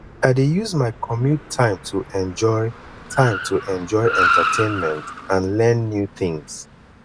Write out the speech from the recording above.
i dey use my commute time to enjoy time to enjoy entertainment and learn new things